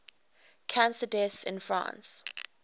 cancer deaths in france